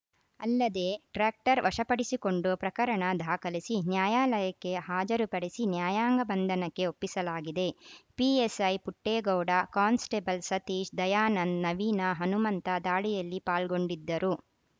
ಅಲ್ಲದೇ ಟ್ರ್ಯಾಕ್ಟರ್‌ ವಶಪಡಿಸಿಕೊಂಡು ಪ್ರಕರಣ ದಾಖಲಿಸಿ ನ್ಯಾಯಾಲಯಕ್ಕೆ ಹಾಜರುಪಡಿಸಿ ನ್ಯಾಯಾಂಗ ಬಂಧನಕ್ಕೆ ಒಪ್ಪಿಸಲಾಗಿದೆ ಪಿಎಸ್‌ಐ ಪುಟ್ಟೇಗೌಡ ಕಾನ್‌ಸ್ಟೇಬಲ್‌ ಸತೀಶ್‌ ದಯಾನಂದ್‌ ನವೀನ ಹನುಮಂತ ದಾಳಿಯಲ್ಲಿ ಪಾಲ್ಗೊಂಡಿದ್ದರು